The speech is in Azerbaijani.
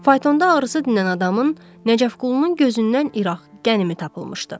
Faytoda ağrısı dinən adamın, Nəcəfqulunun gözündən iraq qənimi tapılmışdı.